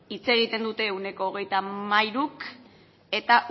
hitz egiten dute ehuneko hogeita hamairuk eta